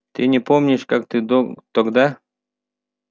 ты не помнишь как ты тогда